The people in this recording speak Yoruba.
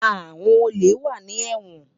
Awòn ólé wà ni èwòn